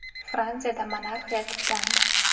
Fransiyada monarxiya tiklandi.